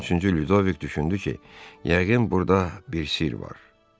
13-cü Lüdoviq düşündü ki, yəqin burda bir sirr var.